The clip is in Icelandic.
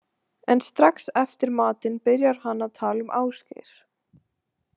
En strax eftir matinn byrjar hann að tala um Ásgeir.